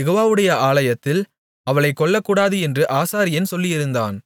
யெகோவாவுடைய ஆலயத்தில் அவளைக் கொல்லக்கூடாது என்று ஆசாரியன் சொல்லியிருந்தான்